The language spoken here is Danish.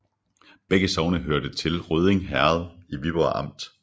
Begge sogne hørte til Rødding Herred i Viborg Amt